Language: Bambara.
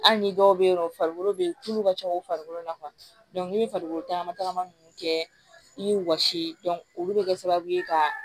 Hali ni dɔw bɛ yen nɔ farikolo bɛ tulu ka can u farikolo la ni bɛ farikolo tagama tagama ninnu kɛ i bɛ wɔsi olu bɛ kɛ sababu ye ka